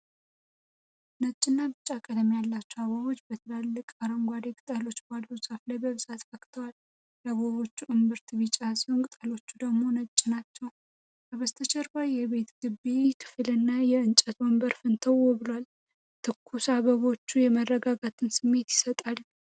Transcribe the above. ነጭና ቢጫ ቀለም ያላቸው አበቦች በትላልቅ አረንጓዴ ቅጠሎች ባሉት ዛፍ ላይ በብዛት ፈክተዋል። የአበቦቹ እምብርት ቢጫ ሲሆን ቅጠሎቹ ደግሞ ነጭ ናቸው። ከበስተጀርባ የቤት ግቢ ክፍልና የእንጨት ወንበር ፍንትው ብሏል። ትኩስ አበባዎቹ የመረጋጋት ስሜት ይሰጣሉ።